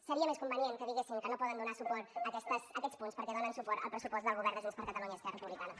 seria més convenient que diguessin que no poden donar suport a aquests punts perquè donen suport al pressupost del govern de junts per catalunya i esquerra republicana